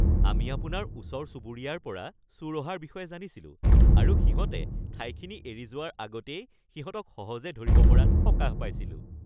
আমি আপোনাৰ ওচৰ-চুবুৰীয়াৰ পৰা চোৰ অহাৰ বিষয়ে জানিছিলোঁ আৰু সিহঁতে ঠাইখিনি এৰি যোৱাৰ আগতেই সিহঁতক সহজে ধৰিব পৰাত সকাহ পাইছিলোঁ। (পুলিচ)